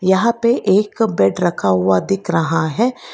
यहां पे एक बेड रखा हुआ दिख रहा है।